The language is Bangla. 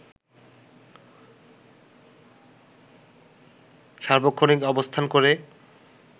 সার্বক্ষণিক অবস্থান করে